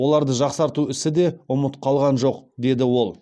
оларды жақсарту ісі де ұмыт қалған жоқ деді ол